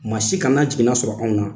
Ma si kana jiginna sɔrɔ anw na